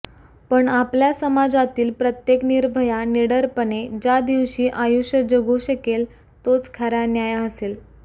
पण आपल्या समाजातील प्रत्येक निर्भया निडरपणे ज्या दिवशी आयुष्य जगू शकेल तोच खरा न्याय असेल